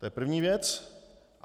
To je první věc.